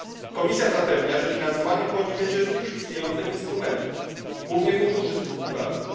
Komisja zapewnia, że finansowanie pochodzić będzie z już istniejących instrumentów, głównie funduszy strukturalnych.